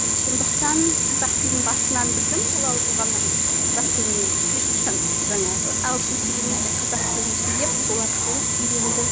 сондықтан қазақ тілін басынан білдім балалы болғаннан қазақ тілін мен ешқашан жаңағы ағылшын сөйлемей тек қазақ тілін сөйлеп сол арқылы үйренді